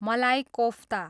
मलाई कोफ्ता